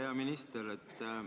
Hea minister!